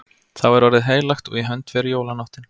Þá er orðið heilagt og í hönd fer jólanóttin.